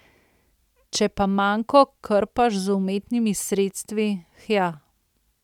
Če pa manko krpaš z umetnimi sredstvi, hja ...